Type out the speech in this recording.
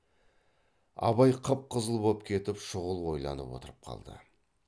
абай қып қызыл боп кетіп шұғыл ойланып отырып қалды